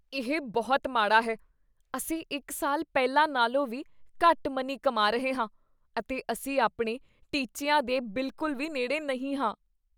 ਇਹ ਬਹੁਤ ਮਾੜਾ ਹੈ! ਅਸੀਂ ਇੱਕ ਸਾਲ ਪਹਿਲਾਂ ਨਾਲੋਂ ਵੀ ਘੱਟ ਮਨੀ ਕਮਾ ਰਹੇ ਹਾਂ ਅਤੇ ਅਸੀਂ ਆਪਣੇ ਟੀਚਿਆਂ ਦੇ ਬਿਲਕੁਲ ਵੀ ਨੇੜੇ ਨਹੀ ਹਾਂ।